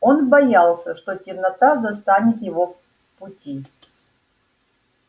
он боялся что темнота застанет его в пути